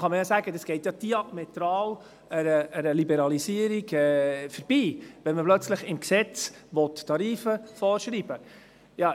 – Da kann man sagen, das gehe ja an einer Liberalisierung diametral vorbei, wenn man plötzlich im Gesetz Tarife vorschreiben will.